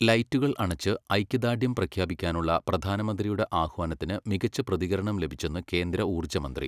ലൈറ്റുകൾ അണച്ച് ഐക്യദാർഢ്യം പ്രഖ്യാപിക്കാനുള്ള പ്രധാനമന്ത്രിയുടെ ആഹ്വാനത്തിന് മികച്ച പ്രതികരണം ലഭിച്ചെന്ന് കേന്ദ്ര ഊർജ്ജമന്ത്രി